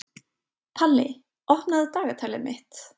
Palli, opnaðu dagatalið mitt.